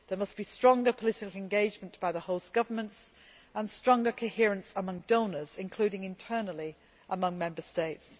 There must be stronger political engagement by the host governments, and stronger coherence among donors, including internally among Member States.